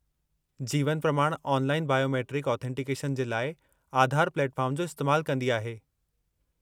जीवन Pramaan online biometric authentication जे लाइ आधार प्लेटफॉर्म जो इस्तैमालु कंदी आहे।